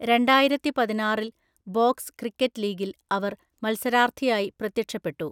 രണ്ടായിരത്തിപതിനാറില്‍ box cricket ലീഗിൽ അവർ മത്സരാർത്ഥിയായി പ്രത്യക്ഷപ്പെട്ടു.